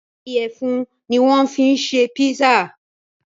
Ìyẹ̀fun ni wọ́n fi ṣe pizza.